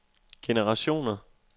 generationer